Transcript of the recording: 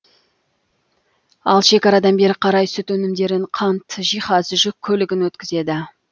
ал шекарадан бері қарай сүт өнімдерін қант жиһаз жүк көлігін өткізеді